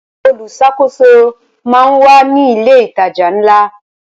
Olùṣàkóso máa ń wà ní ilé ìtajà ńlá.